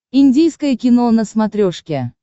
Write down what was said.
индийское кино на смотрешке